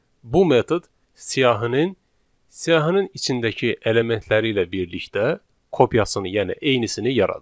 Bu metod siyahının, siyahının içindəki elementləri ilə birlikdə kopyasını, yəni eynisini yaradır.